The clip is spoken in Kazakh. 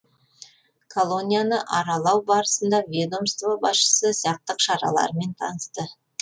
колонияны аралау барысында ведомство басшысы сақтық шараларымен танысты